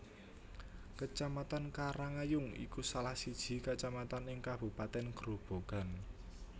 Kecamatan Karangayung iku salah siji kecamatan ing kabupaten Grobogan